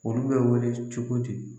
Olu bɛ wele cogo di